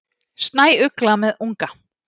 Snæugla með unga.